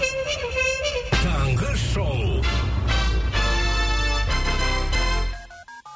таңғы шоу